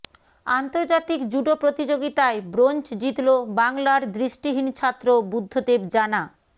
আন্তর্জাতিক জুডো প্রতিযোগিতায় ব্রোঞ্জ জিতল বাংলার দৃষ্টিহীন ছাত্র বুদ্ধদেব জানা